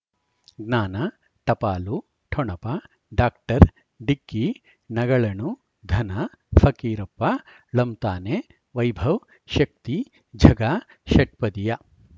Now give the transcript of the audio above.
ಜ್ಞಾನ ಟಪಾಲು ಠೊಣಪ ಡಾಕ್ಟರ್ ಢಿಕ್ಕಿ ಣಗಳನು ಧನ ಫಕೀರಪ್ಪ ಳಂತಾನೆ ವೈಭವ್ ಶಕ್ತಿ ಝಗಾ ಷಟ್ಪದಿಯ